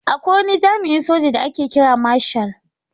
Akwai wani jami'in soja da ake kira marshal.